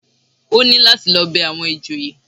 Ó ní láti lọ bẹ àwọn ìjòyè